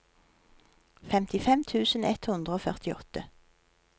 femtifem tusen ett hundre og førtiåtte